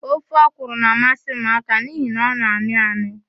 Ofe ọkwụrụ na-amasị ụmụaka n'ihi na ọ na-amị amị.